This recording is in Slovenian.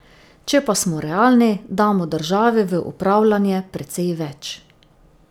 Če pa smo realni, damo državi v upravljanje precej več.